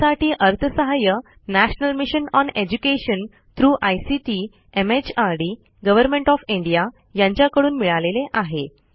यासाठी अर्थसहाय्य national mission on education through ICT MHRD government of India यांच्याकडून मिळालेले आहे